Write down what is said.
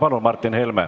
Palun, Martin Helme!